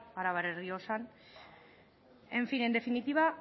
jada arabar errioxan en fin en definitiva